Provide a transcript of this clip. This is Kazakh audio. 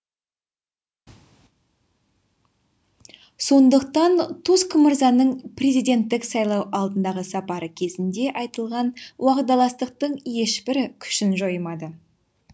сондықтан туск мырзаның президенттік сайлау алдындағы сапары кезінде айтылған уағдаластықтың ешбірі күшін жоймады